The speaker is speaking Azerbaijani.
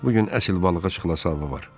Bu gün əsl balığa çıxılası hava var.